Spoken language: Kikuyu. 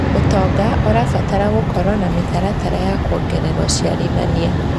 ũtonga ũrabatara gũkorwo na mĩtaratara ya kuongerera ũciarithania.